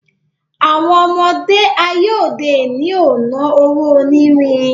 Àwon ọmọ Aye òde òni o no Owó onírin